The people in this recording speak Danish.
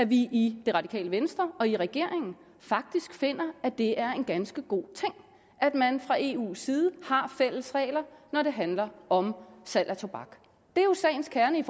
vi i det radikale venstre og i regeringen faktisk finder at det er en ganske god ting at man fra eus side har fælles regler når det handler om salg af tobak det er jo sagens kerne i